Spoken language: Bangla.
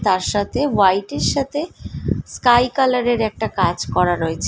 তার সাথে হোয়াইট এর সাথে স্কাই কালার এর একটা কাজ করা রয়েছে।